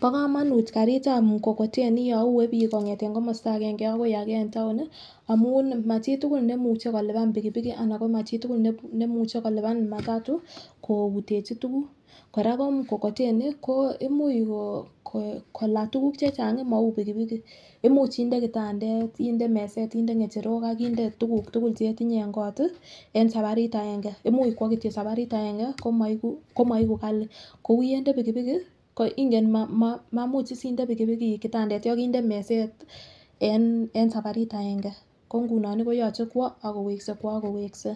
bo komonuut kariit ab mkokoteni yon uee biik kongeten komosta agenge agoi agenge amuun iih machitugul nemuche kolubaan bigibigi anan machitugul nemuche kolubaan matatu koutechi tuguuk, koraaa koo mkokoteni imuch kola tuguuk chechang mauu bigibigi imuch indee kitandeet, inde meseet ak inde ngecherook ak inde tuguuk tugul chetinye en koot iih een sabariit agenge, imuuch kwoo kityo sabariit agenge komoigu kali, koyende pigipigi koor inge maimuch iss iinde pigipigi kitandoshek inde meseet en sabariit aenge, ko ngunoon koyoche kwoo ak koweske ak koweske,